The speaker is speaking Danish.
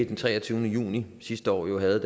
den treogtyvende juni sidste år jo havde